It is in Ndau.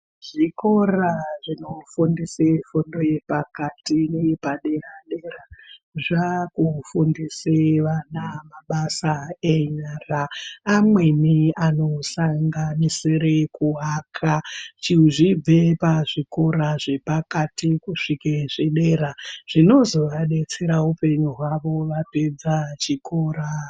Zvikora zvinofundisa fundo nepakati neyepadera zvava kuvafundisawo ana mabasa enyara amweni anosanganisira kuaka zvichibve pazvikora zvepakati kuzvike zvepadera zvinozovadetsera upenyu hwavo vapedza chikora.